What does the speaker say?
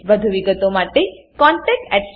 વધુ વિગતો માટે કૃપા કરી contactspoken tutorialorg પર લખો